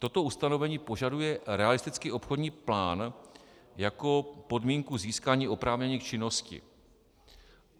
Toto ustanovení požaduje realistický obchodní plán jako podmínku získání oprávnění k činnosti.